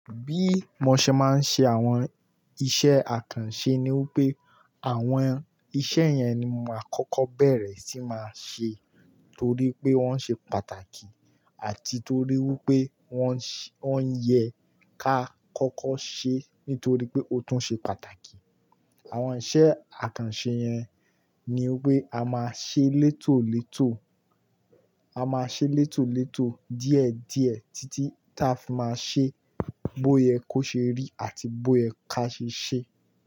Bí mo ṣe máa ń ṣe àwọn iṣẹ́ àkànṣe ni wípé àwọn iṣẹ́ yẹn ni maa kọ́kọ́ bẹ̀rẹ̀ sí màá ṣe torí pé wọ́n ṣe pàtàkì àti torí wípé wọ́n ń yẹ ká kọ́kọ́ ṣe nítorí pé ó tún ṣe pàtàkì. Àwọn iṣẹ́ àkànṣe yẹn ni wípé a máa ṣe létòlétò, a máa ṣe létòlétò díẹ̀díẹ̀ títí ta fi máa ṣe bóye kó ṣe rí àti bóye ká ṣe ṣe.